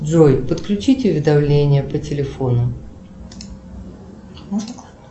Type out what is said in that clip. джой подключить уведомление по телефону